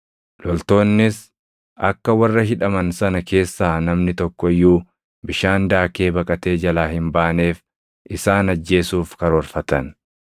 Loltoonnis akka warra hidhaman sana keessaa namni tokko iyyuu bishaan daakee baqatee jalaa hin baaneef isaan ajjeesuuf karoorfatan.